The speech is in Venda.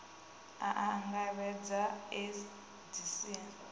a a angaredza u edzisea